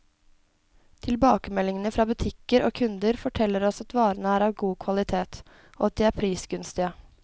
Tilbakemeldingene fra butikker og kunder, forteller oss at varene er av god kvalitet, og at de er prisgunstige.